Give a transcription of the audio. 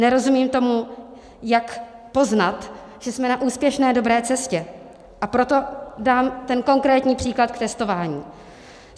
Nerozumím tomu, jak poznat, že jsme na úspěšné, dobré cestě, a proto dám ten konkrétní příklad k testování.